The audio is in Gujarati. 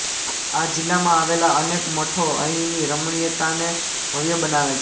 આ જિલ્લામાં આવેલા અનેક મઠો અહીંની રમણીયતાને ભવ્ય બનાવે છે